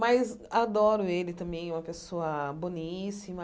Mas adoro ele também, uma pessoa boníssima.